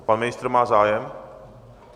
A pan ministr má zájem?